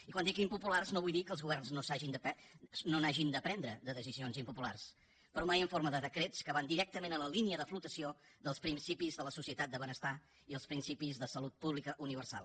i quan dic impopulars no vull dir que els governs no n’hagin de prendre de decisions impopulars però mai en forma de decrets que van directament a la línia de flotació dels principis de la societat de benestar i els principis de salut pública universal